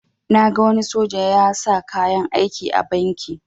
Na gan wani soja ya sa kayan aiki a banki